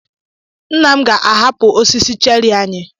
Nna m ga-ahapụ osisi cherị anyị.